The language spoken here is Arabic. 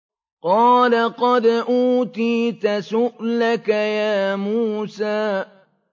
قَالَ قَدْ أُوتِيتَ سُؤْلَكَ يَا مُوسَىٰ